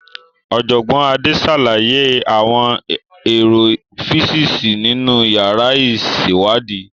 Ọ̀jọ̀gbọ́n Ade ṣàlàyé àwọn èrò físíìsì nínú yàrá ìṣèwádìí.